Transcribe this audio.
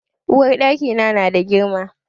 Uwarɗaki na na da girma.